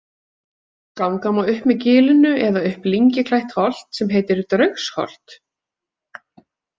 Ganga má upp með gilinu eða upp lyngi klætt holt sem heitir Draugsholt.